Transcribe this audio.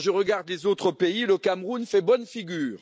Quand je regarde les autres pays, le Cameroun fait bonne figure.